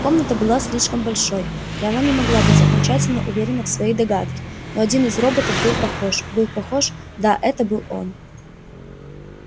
комната была слишком большой и она не могла быть окончательно уверена в своей догадке но один из роботов был похож был похож да это был он